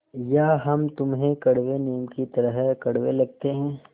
या हम तुम्हें कड़वे नीम की तरह कड़वे लगते हैं